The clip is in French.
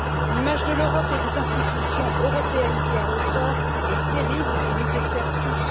L'image de l'Europe et des institutions européennes qui en ressort est terrible et nous dessert tous.